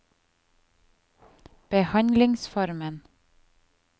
behandlingsformen